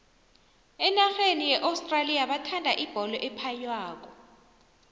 enarheni ye australia bathanda ibholo ephaywako